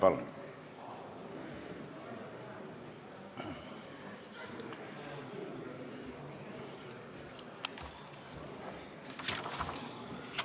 Palun!